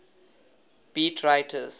beat writers